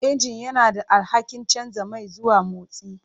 Injin yana da alhakin canza mai zuwa motsi.